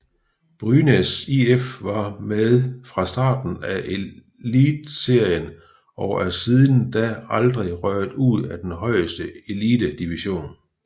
Brynäs IF var med fra starten af Elitserien og er siden da aldrig røget ud af den højeste elitedivision